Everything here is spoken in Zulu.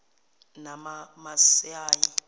namamasayi